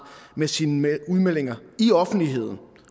med sine udmeldinger i offentligheden